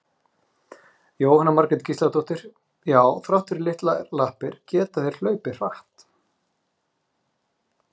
Jóhanna Margrét Gísladóttir: Já þrátt fyrir litlar lappir geta þeir hlaupið hratt?